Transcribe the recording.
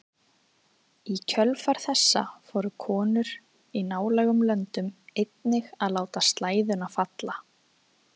Í kjölfar þessa fóru konur í nálægum löndum einnig að láta slæðuna falla.